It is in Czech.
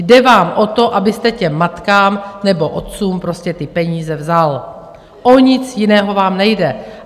Jde vám o to, abyste těm matkám nebo otcům prostě ty peníze vzal, o nic jiného vám nejde.